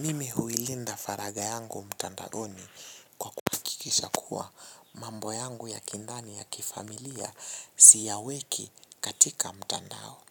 Mimi huilinda faragha yangu mtandaoni kwa kuhakikisha kuwa mambo yangu ya kindani ya kifamilia siyaweki katika mtandao.